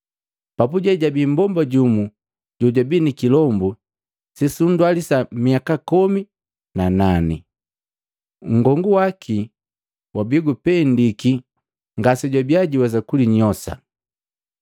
Papuje jabii mmbomba jumu jojabii nikilombu sesundwalisa miaka komi na nane. Nngongu waki wabii gupendiki ngasejwabia juwesa kulinyosa.